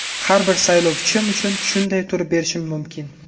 Har bir saylovchim uchun shunday turib berishim mumkin.